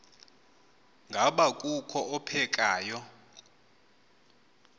ngaba kukho ophekayo